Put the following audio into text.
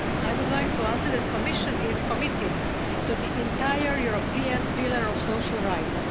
I would like to answer that the Commission is committed to the entire European Pillar of Social Rights.